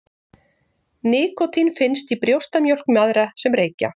Nikótín finnst í brjóstamjólk mæðra sem reykja.